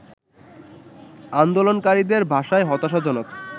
আন্দোলনকারীদের ভাষায় হতাশাজনক